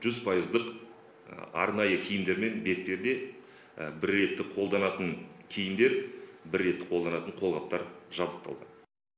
жүз пайыздық арнайы киімдер мен бетперде бір реттік қолданатын киімдер бір реттік қолданатын қолғаптар жабдықталды